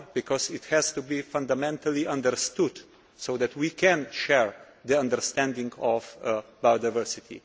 Because this has to be fundamentally understood, so that we can share the understanding of biodiversity.